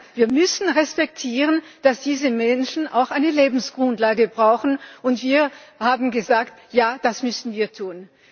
Nein, wir müssen respektieren, dass diese Menschen auch eine Lebensgrundlage brauchen, und wir haben gesagt, ja, das müssen wir tun.